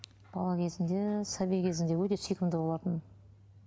бала кезінде сәби кезінде өте сүйкімді болатын